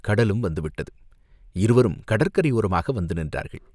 கடலும் வந்து விட்டது, இருவரும் கடற்கரை யோரமாக வந்து நின்றார்கள்.